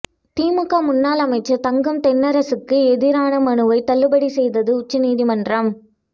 திமுக முன்னாள் அமைச்சர் தங்கம் தென்னரசுக்கு எதிரான மனுவை தள்ளுபடி செய்தது உச்சநீதிமன்றம்